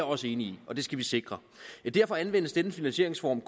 også enig i og det skal vi sikre derfor anvendes denne finansieringsform